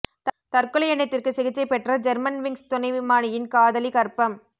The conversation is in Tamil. தற்கொலை எண்ணத்திற்கு சிகிச்சை பெற்ற ஜெர்மன்விங்ஸ் துணை விமானியின் காதலி கர்ப்பம்